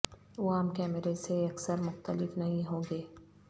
وہ عام کیمرے سے یکسر مختلف نہیں ہوں گے